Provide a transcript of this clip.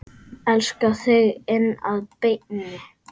Elska þig inn að beini.